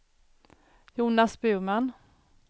Jonas Burman